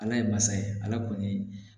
Ala ye masa ye ala kɔni